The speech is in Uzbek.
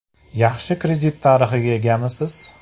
Yaxshi kredit tarixiga egamisiz?